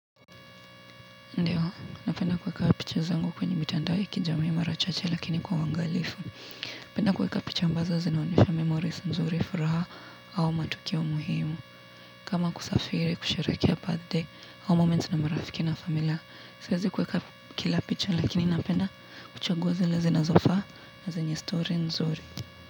Ndio, napenda kuweka picha zangu kwenye mitandao ya kijami marachache lakini kwa uangalifu. Napenda kuweka picha ambazo zina onyesha memories nzuri furaha au matukio muhimu. Kama kusafiri, kusheherekea birthday au moment na marafiki na familia. Siwezikuweka kila picha lakini napenda kuchagua zile zinazofaa na zenye story nzuri.